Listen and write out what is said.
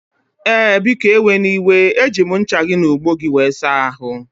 Ee, biko eweniwe eji m ncha gị na ogbo gị wee saa ahụ